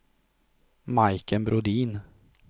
Majken Brodin